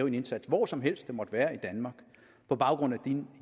en indsats hvor som helst det måtte være i danmark på baggrund af